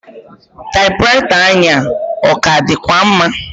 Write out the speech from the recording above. Taịpụraịta anyị a, ọ ka dịkwa mma?